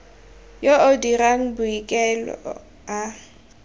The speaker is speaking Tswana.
yo o dirang boikuelo a